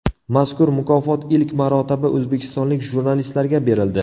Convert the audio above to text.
Mazkur mukofot ilk marotaba o‘zbekistonlik jurnalistlarga berildi.